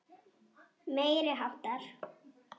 Meiri háttar.